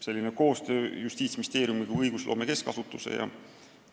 Selline koostöö Justiitsministeeriumi kui õigusloome keskasutuse ja